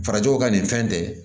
Farajɛw ka nin fɛn tɛ